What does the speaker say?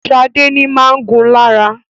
Shade ní má gún lára.